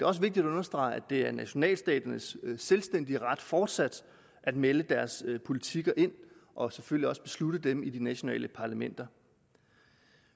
også vigtigt at understrege at det er nationalstaternes selvstændige ret fortsat at melde deres politikker ind og selvfølgelig også at beslutte dem i de nationale parlamenter